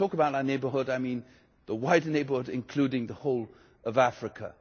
And when I talk about our neighbourhood, I mean the wider neighbourhood, including the whole of Africa.